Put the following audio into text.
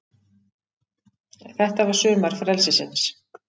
Þetta var sumar frelsisins.